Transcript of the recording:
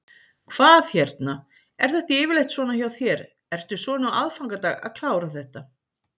Hvað hérna, er þetta yfirleitt svona hjá þér, ertu svona á aðfangadag að klára þetta?